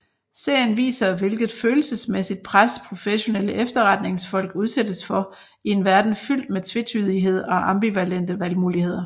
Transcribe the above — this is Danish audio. Serien viser hvilket følelsesmæssigt pres professionelle efterretningsfolk udsættes for i en verden fyldt med tvetydighed og ambivalente valgmuligheder